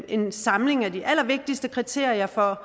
en samling af de allervigtigste kriterier for